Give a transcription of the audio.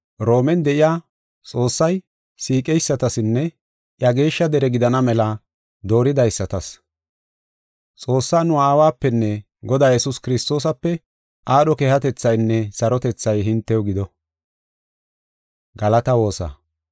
Roomen de7iya, Xoossay siiqeysatasinne iya geeshsha dere gidana mela dooridaysatas. Xoossaa nu Aawapenne Godaa Yesuus Kiristoosape aadho keehatethaynne sarotethay hintew gido.